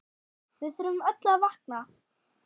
Við þurfum öll að vakna!